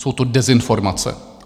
Jsou to dezinformace.